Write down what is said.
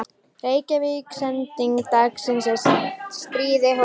Reykvíkingar sendingu daginn sem stríðið hófst.